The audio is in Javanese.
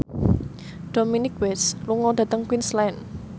Dominic West lunga dhateng Queensland